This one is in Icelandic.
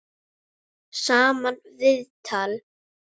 Sama viðtal.